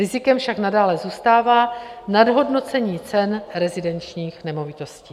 Rizikem však nadále zůstává nadhodnocení cen rezidenčních nemovitostí.